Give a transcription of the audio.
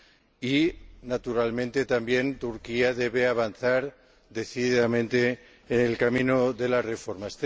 Y, naturalmente, también Turquía debe avanzar decididamente en el camino de las reformas.